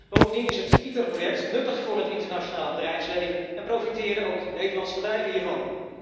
Bovendien is het ITER project nuttig voor het internationale bedrijfsleven en profiteren ook Nederlandse bedrijven hiervan